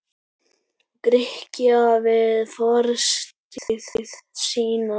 Grikkja við fortíð sína.